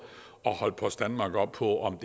at holde post danmark op på om